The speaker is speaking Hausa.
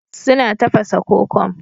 Suna tafasa kokom